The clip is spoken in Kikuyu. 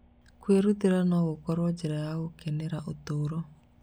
Kwĩrutĩra no gũkorwo njĩra ya gũkenera ũtũũro.